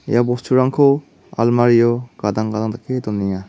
ia bosturangko almario gadang gadang dake donenga.